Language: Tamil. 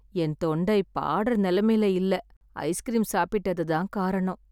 என் தொண்டை பாடுற நிலைமையிலே இல்ல, ஐஸ்கிரீம் சாப்பிட்டது தான் காரணம்.